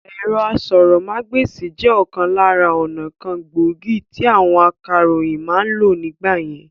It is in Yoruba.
Ẹ̀rọ asọ̀rọ̀mágbèsì jẹ òkan lára ọnà kan gbòógì tí àwọn akàròyìn ma ń lò nígbà yẹn